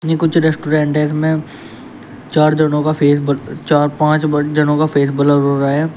ये कुछ रेस्टोरेंट है इसमें चार जनों का फेस ब चार पांच ब जनों का फेस ब्लर हो रहा है।